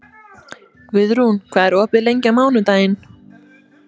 Guðrún, hvað er opið lengi á mánudaginn?